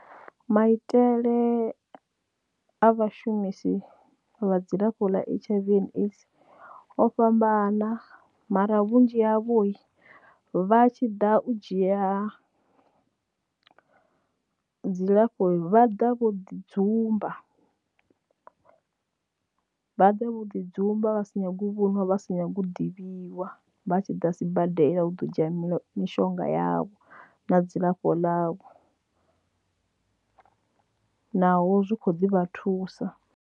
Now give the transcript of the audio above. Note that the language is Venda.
Maitele a vhashumisi vha dzilafho ḽa H_I_V and AIDS o fhambana mara vhunzhi havho vha tshi ḓa u dzhia dzilafho vha ḓa vho ḓi dzumba vha ḓa vho ḓi dzumba vha sa nyagi u vho nwa vha sa nyagi u ḓivhiwa vha tshi ḓa sibadela u ḓo dzhia mishonga yavho na dzilafho ḽa vho naho zwi kho ḓi vha thusa.